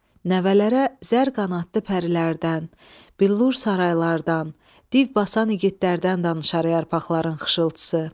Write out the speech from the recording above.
Nəvələrə zər qanadlı pərilərdən, billur saraylardan, div basan igidlərdən danışar yarpaqların xışıltısı.